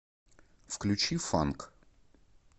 включи фанк